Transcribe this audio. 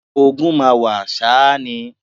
Ogun máa wà ṣá ni